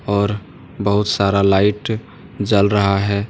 और बहुत सारा लाइट जल रहा है।